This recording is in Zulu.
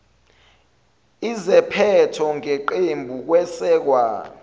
iziphetho ngeqembu kwesekwa